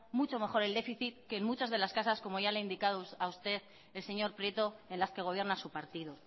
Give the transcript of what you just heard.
mucho mejor el déficit que en muchas de las casas como ya le ha indicado a usted el señor prieto en las que gobierna su partido